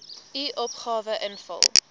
u opgawe invul